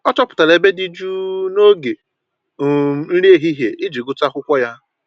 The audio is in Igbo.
Ọ chọpụtara ebe dị jụụ noge um nri ehihie iji gụtụ akwụkwọ ya